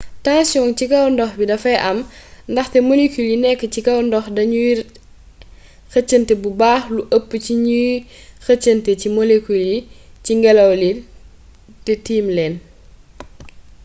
tensiyong c kw ndox mi dafay am ndaxte molekul yi nekk ci kaw ndox dañuy xëcënte bu baax lu ëpp ci ni ñuy xëcantee ci molekul yi ci ngelaw li te tiim leen